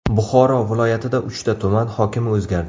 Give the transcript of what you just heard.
Buxoro viloyatida uchta tuman hokimi o‘zgardi.